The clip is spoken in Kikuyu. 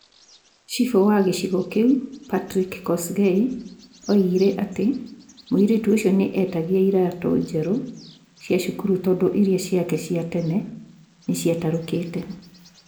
cifũ wa gĩcigo kĩu Patiraki Kosgei oigire atĩ mũirĩtu ũcio nĩ etagia iratũ njerũ cia cukuru tondũ iria ciake cia tene nĩ cia tarukĩĩte.